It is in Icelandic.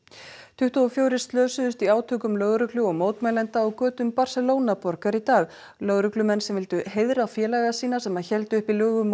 tuttugu og fjórir slösuðust í átökum lögreglu og mótmælenda á götum Barcelona borgar í dag lögreglumenn sem vildu heiðra félaga sína sem héldu uppi lögum